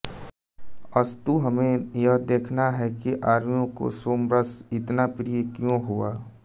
अस्तु हमें यह देखना है कि आर्यों को सोमरस इतना प्रिय क्यों हुआ